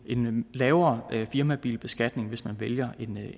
lavere firmabilbeskatning hvis man vælger